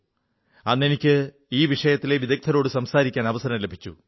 അന്ന് എനിക്ക് ഈ വിഷയത്തിലെ വിദഗ്ധരോടു സംസാരിക്കാൻ അവസരം ലഭിച്ചു